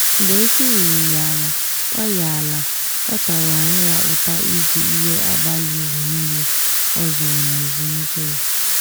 mgbe isi ruru ya ala ọ ya ala ọ tara onwe ya ụta ịzụ ihe abaghi uru niile o zụrụ na ezumike ya.